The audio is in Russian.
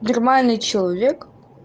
нормальный человек